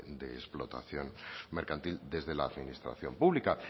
de explotación mercantil desde la administración pública